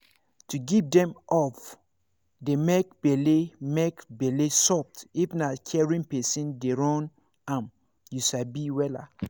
to give dem hope dey make bele make bele soft if na caring person dey run am you sabi wella